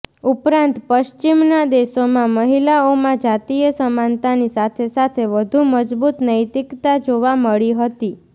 ઉપરાંત પશ્ચિમના દેશોમાં મહિલાઓમાં જાતીય સમાનતાની સાથેસાથે વધુ મજબૂત નૈતિકતા જોવા મળી હતી